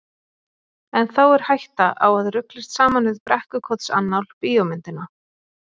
En þá er hætta á að ruglist saman við Brekkukotsannál bíómyndina.